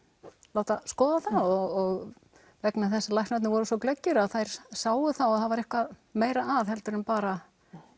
láta skoða það og vegna þess að læknarnir voru svo glöggir að þær sáu það var eitthvað meira að heldur en bara